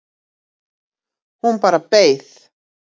Hún bara beið